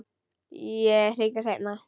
Ég hringi seinna.